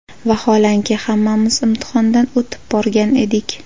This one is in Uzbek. Vaholanki, hammamiz imtihondan o‘tib borgan edik.